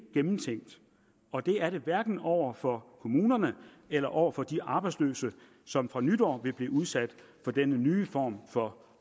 gennemtænkt og det er det hverken over for kommunerne eller over for de arbejdsløse som fra nytår vil blive udsat for denne nye form for